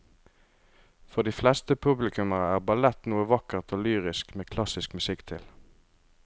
For de fleste publikummere er ballett noe vakkert og lyrisk med klassisk musikk til.